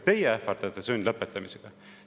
Teie ähvardate sundlõpetamisega!